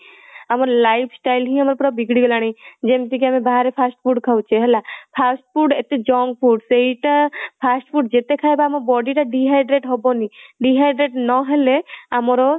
ଆମ lifestyle ହିଁ ଆମର ପୁରା ବିଗିଡି ଗଲାଣି ଯେମିତିକି ଆମେ ବାହାରେ fast food ଖାଉଛେ ହେଲା fast food ଏତେ junk food ସେଇଟା fast food ଯେତେ ଖାଇବା ଆମ body dehydrate ହବନି dehydrate ନହେଲେ ଆମର